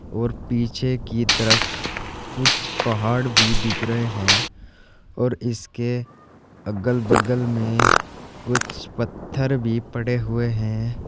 और पीछे की तरफ कुछ पहाड़ भी दिख रहे हैं और इसके अगल बगल में कुछ पत्थर भी पड़े हुए हैं।